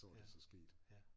Så var det så sket